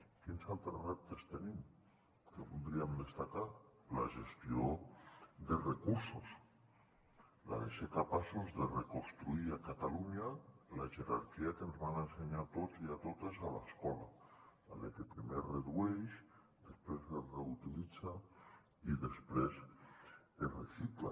quins altres reptes tenim que voldríem destacar la gestió de recursos el de ser capaços de reconstruir a catalunya la jerarquia que ens van ensenyar a tots i a totes a l’escola la de que primer es redueix després es reutilitza i després es recicla